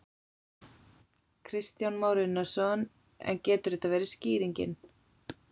Kristján Már Unnarsson: En getur þetta verið skýringin?